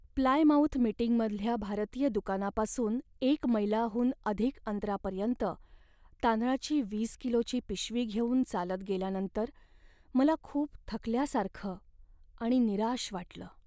Plymouth मीटिंगमधल्या भारतीय दुकानापासून एक मैलाहून अधिक अंतरापर्यंत तांदळाची वीस किलोची पिशवी घेऊन चालत गेल्यानंतर मला खूप थकल्यासारखं आणि निराश वाटलं.